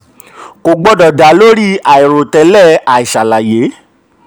31. kò gbọdọ̀ dá lórí lórí àìròtẹ́lẹ̀ àìṣàlàyé.